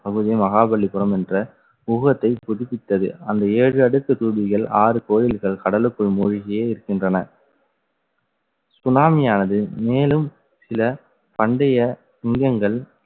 பகுதியும் மகாபலிபுரம் என்ற புதுப்பித்தது. அந்த ஏழு அடுக்கு தூதிகள் ஆறு கோயில்கள் கடலுக்குள் மூழ்கியே இருக்கின்றன. சுனாமியானது, மேலும் சில பண்டைய சிங்கங்கள்